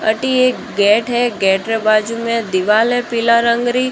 अटी एक गेट है गेट के बाजू में दीवार है पीला रंग री।